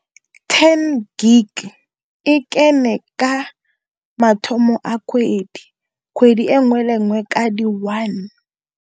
Ten gig e kene ka mathomo a kgwedi, kgwedi e nngwe le nngwe ka di one.